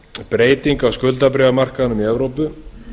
breyting á skuldabréfamarkaðnum í evrópu